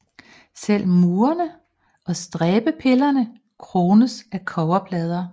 Selv murene og stræbepillerne krones af kobberplader